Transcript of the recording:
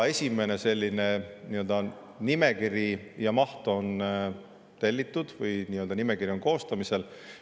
Esimene selline maht on tellitud, nii-öelda nimekiri on koostamisel.